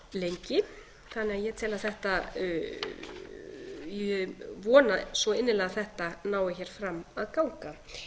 að ég tel að þetta ég vona svo innilega að þetta nái hér fram að ganga